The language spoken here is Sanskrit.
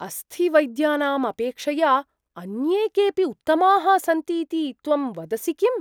अस्थिवैद्यानाम् अपेक्षया अन्ये केपि उत्तमाः सन्ति इति त्वं वदसि किम्?